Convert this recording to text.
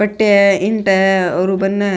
पट्टियां है ईट है और बन --